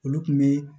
Olu kun be